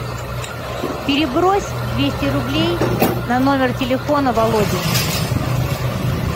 перебрось двести рублей на номер телефона володи